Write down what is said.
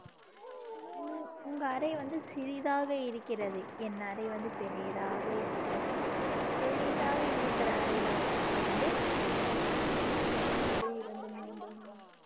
உங்க அறை வந்து சிறிதாக இருக்கிறது என் அறை வந்து பெரியதாக இருக்கிறது பெரிதாக இருக்கிற அறைல வந்து ஒன்று இரண்டு மூன்று நான்கு